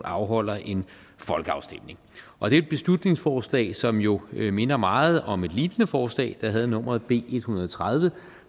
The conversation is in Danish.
afholder en folkeafstemning og det er et beslutningsforslag som jo minder meget om et lignende forslag der havde nummeret b en hundrede og tredive